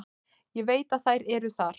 Ég veit að þær eru þar.